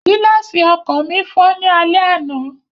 Gíláàsì ọkọ̀ mi fọ́ ní alẹ́ àná